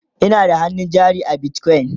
Ina da hannun jari a bitcoin